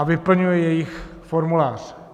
A vyplňuje jejich formulář.